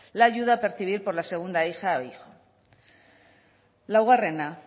la ayuda a percibir por la segunda hija o hijo laugarrena